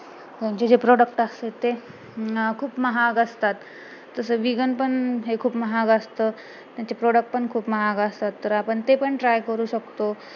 त्यांचे जे product असतात ते ना खूप महाग असतात तसं vegan पन हे खूप महाग असतं त्यांचे product पण खूप महाग असतात तर आपण ते पण try करू शकतो